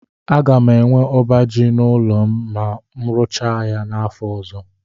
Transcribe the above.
A ga m enwe ọba ji n'ụlọ m na mu rụchaa ya n'afọ ọzọ.